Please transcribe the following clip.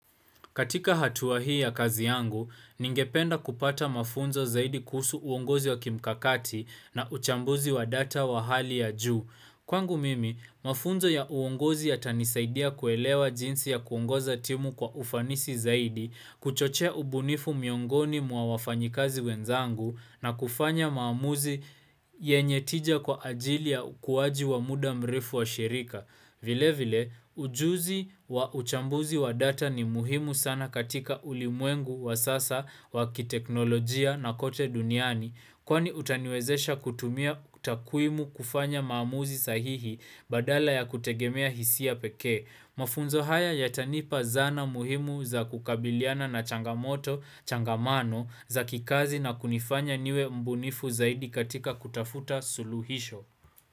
Katika hatua hii ya kazi yangu, ningependa kupata mafunzo zaidi kuhusu uongozi wa kimkakati na uchambuzi wa data wa hali ya juu. Kwangu mimi, mafunzo ya uongozi yatanisaidia kuelewa jinsi ya kuongoza timu kwa ufanisi zaidi, kuchochea ubunifu miongoni mwa wafanyikazi wenzangu na kufanya maamuzi yenye tija kwa ajili ya ukuwaji wa muda mrefu wa shirika. Vile vile, ujuzi wa uchambuzi wa data ni muhimu sana katika ulimwengu wa sasa wa kiteknolojia na kote duniani kwani utaniwezesha kutumia utakwimu kufanya maamuzi sahihi badala ya kutegemea hisia peke. Mafunzo haya yatanipa zana muhimu za kukabiliana na changamoto, changamano za kikazi na kunifanya niwe mbunifu zaidi katika kutafuta suluhisho.